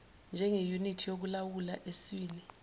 njengeyunithi yokulawula eswini